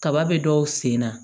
Kaba be dɔw sen na